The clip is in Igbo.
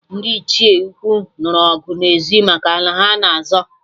Ndị Ichie ukwu nụrụ ọgụ n'ezi maka ala ha-na azọ